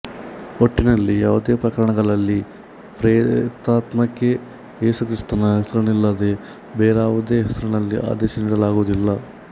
ಒಟ್ಟಿನಲ್ಲಿ ಯಾವುದೇ ಪ್ರಕರಣಗಳಲ್ಲಿ ಪ್ರೇತಾತ್ಮಕ್ಕೆ ಏಸುಕ್ರಿಸ್ತನ ಹೆಸರಿನಲ್ಲಲ್ಲದೇ ಬೇರಾವುದೇ ಹೆಸರಿನಲ್ಲಿ ಆದೇಶ ನೀಡಲಾಗುವುದಿಲ್ಲ